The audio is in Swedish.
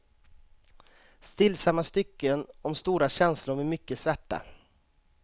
Stillsamma stycken om stora känslor med mycket svärta.